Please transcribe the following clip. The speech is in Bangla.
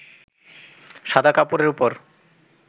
সাদা কাপড়ের ওপর